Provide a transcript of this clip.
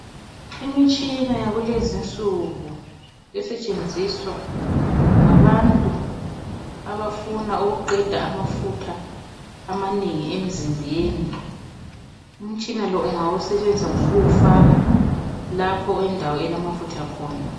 Imitshina yakulezinsuku esetshenziswa ngabantu abafuna ukuqeda amafutha amanengi emzimbeni. Umtshina lo ungawusetshenzisa ngokuwufaka lapho endawo okulamafutha khona.